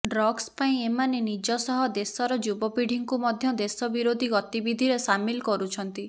drugs ପାଇଁ ଏମାନେ ନିଜ ସହ ଦେଶର ଯୁବପିଢୀଙ୍କୁ ମଧ୍ୟ ଦେଶ ବିରୋଧୀ ଗତିବିଧିରେ ସାମିଲ କରୁଛନ୍ତି